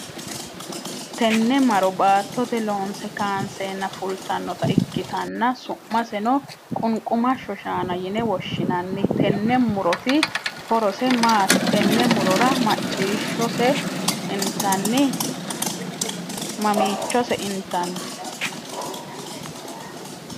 Tenne Maro baattote loonse kaanseenna fultanota ikitanna su'maseno qunqumasho shaanna yine woshinnanni tenne muroti horose maati? Tenne murora mamiichose intanni?